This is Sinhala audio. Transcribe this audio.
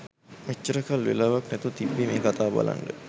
මෙච්චර කල් වෙලාවක් නැතුව තිබ්බේ මේ කතාව බලන්න.